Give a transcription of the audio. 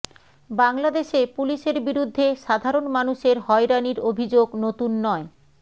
বাংলাদেশে পুলিশের বিরুদ্ধে সাধারণ মানুষের হয়রানির অভিযোগ নতুন নয়